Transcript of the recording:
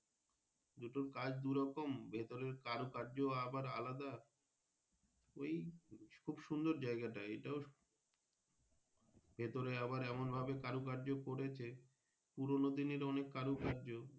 দুটো কাজ দুরকম ভেতরের কারো কায্য আবার আলাদা ওই খুব সুন্দর জায়গাটা এটাও ভেতরে আবার এমন ভাবে কারো কায্য করেছে পুরোনোদিনের অনেক কারো কায্য।